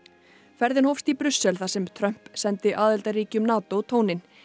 ferðin hófst í Brussel þar sem Trump sendi aðildarríkjum NATO tóninn